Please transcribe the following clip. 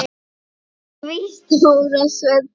Því stóra svelli.